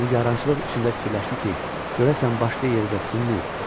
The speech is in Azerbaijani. Nigarançılıq içində fikirləşdi ki, görəsən başqa yerdə sımayıb?